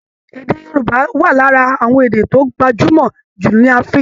Èdè Yorùbá wà lara àwọn èdè tó gbajúmọ jù ní Africa